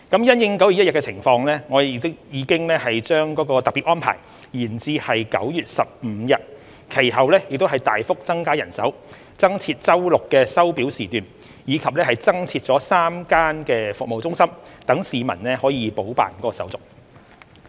因應9月1日情況，我們已把該特別安排延長至9月15日，其後又大幅增加人手、增設周六的收表時段，以及增設3間服務中心讓市民補辦手續。